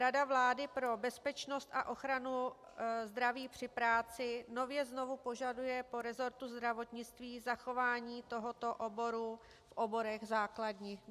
Rada vlády pro bezpečnost a ochranu zdraví při práci nově znovu požaduje po resortu zdravotnictví zachování tohoto oboru v oborech základních.